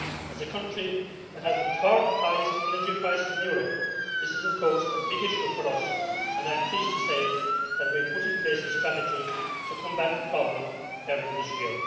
As a country that has the third highest energy prices in Europe, this is of course a big issue for us, and I am pleased to say that we put in place a strategy to combat the problem early this year.